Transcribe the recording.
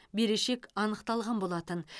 берешек анықталған болатын